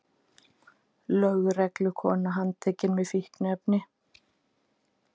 Lögreglukona handtekin með fíkniefni